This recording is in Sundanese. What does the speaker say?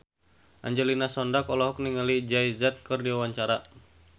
Angelina Sondakh olohok ningali Jay Z keur diwawancara